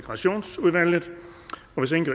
så